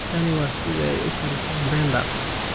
Tani waa sida ay u kariso mrenda